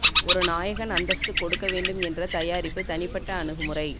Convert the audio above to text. ஒரு நாயகன் அந்தஸ்து கொடுக்க வேண்டும் என்ற தயாரிப்பு தனிப்பட்ட அணுகுமுறை